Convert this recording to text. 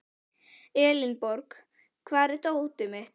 Elenborg, hvar er dótið mitt?